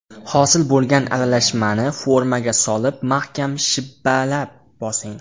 Hosil bo‘lgan aralashmani formaga solib mahkam shibbalab bosing.